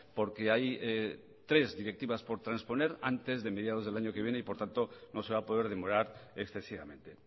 porque hay tres directivas por transponer antes de mediados del año que viene y por tanto no se va a poder demorar excesivamente